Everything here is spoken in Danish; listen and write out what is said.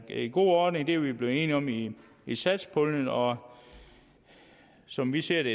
en god ordning det er vi blevet enige om i i satspuljen og som vi ser det